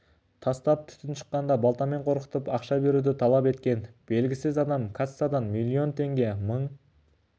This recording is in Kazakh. тастап түтін шыққанда балтамен қорқытып ақша беруді талап еткен белгісіз адам кассадан миллион теңге мың